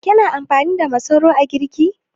Kina amfani da masoro a girki?